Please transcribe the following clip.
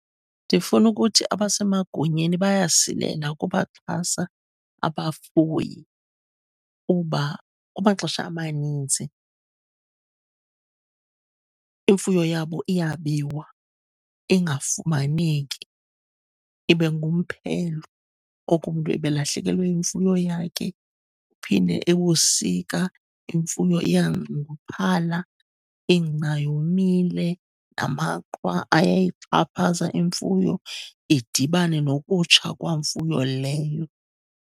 Ndifuna ukuthi abasemagunyeni bayasilela ukubaxhasa abafuyi kuba kumaxesha amanintsi imfuyo yabo iyabiwa, ingafumaneki, ibe ngumphelo oko umntu ebelahlekelwe yimfuyo yakhe. Kuphinde ebusika imfuyo iyanxunguphala, ingca yomile, amaqhwa ayayixhaphaza imfuyo. Idibane nokutsha kwamfuyo leyo.